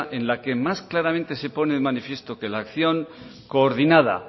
en la que más claramente se pone de manifiesto que la acción coordinada